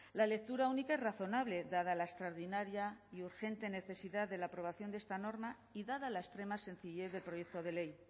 la lectura única es razonable dada la extraordinaria y urgente necesidad de la aprobación de esta norma y dada la extrema sencillez del proyecto de ley